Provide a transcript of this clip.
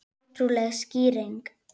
Ótrúleg skýring